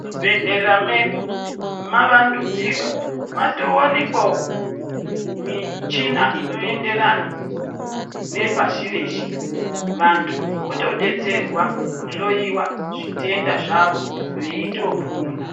Muzvibhedhlera medu mavandudzika matovanikwavo michina inoenderana nepashi reshe. Vantu votobetserwa kuhlowa zvitenda zvavo veitopona.